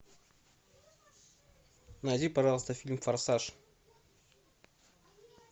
найди пожалуйста фильм форсаж